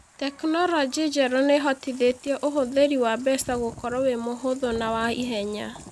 Tekinoronjĩ njerũ nĩ ĩhotithĩtie ũhũthĩri wa mbeca gũkorwo wĩ mũhũthũ na wa ihenya.